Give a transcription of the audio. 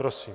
Prosím.